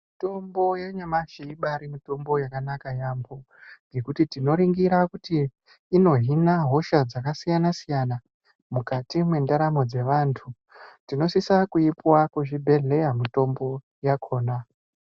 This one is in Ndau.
Mutombo yanyamashi ibari mitombo yakanaka yaamho ngekuti tinoringira kuti inohina hosha dzakasiyana -siyana mukati mwendaramo dzevantu, tinosisa kuipiwa kuzvibhedhleya mitombo yakhona.